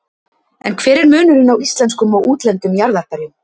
En hver er munurinn á íslenskum og útlendum jarðarberjum?